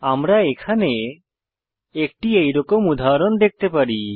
আমরা এখানে একটি এরকম উদাহরণ দেখতে পারি